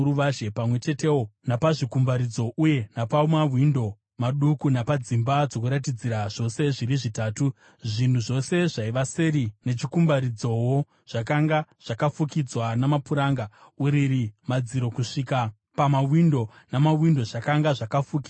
pamwe chetewo napazvikumbaridzo uye napamawindo maduku napadzimba dzokuratidzira zvose zviri zvitatu, zvinhu zvose zvaiva seri nechikumbaridzowo, zvakanga zvakafukidzwa namapuranga. Uriri, madziro kusvika pamawindo, namawindo zvakanga zvakafukidzwa.